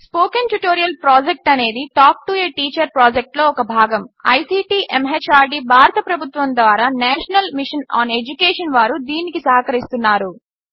spoken tutorial project అనేది talk to a teacher ప్రాజెక్ట్లో ఒక భాగము ఐసీటీ ఎంహార్డీ భారత ప్రభుత్వము ద్వారా నేషనల్ మిషన్ ఆన్ ఎడ్యుకేషన్ వారు దీనికి సహకరిస్తున్నారు